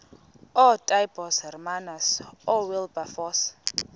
ootaaibos hermanus oowilberforce